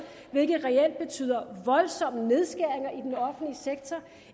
hvilket reelt betyder voldsomme nedskæringer i den offentlige sektor